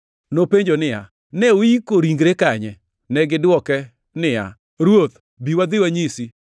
Nopenjo niya, “Ne uiko ringre kanye?” Negidwoke niya, “Ruoth, bi wadhi wanyisi.”